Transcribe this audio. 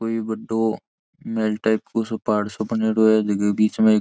कोई बड़ों महल टाइप को पहाड़ सो बनेडो है जेके बीच में एक --